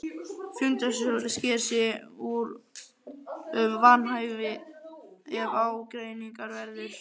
Fundarstjóri sker úr um vanhæfi ef ágreiningur verður.